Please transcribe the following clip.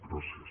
gràcies